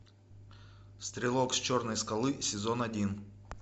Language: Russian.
стрелок с черной скалы сезон один